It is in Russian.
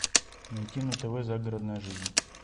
найти на тв загородная жизнь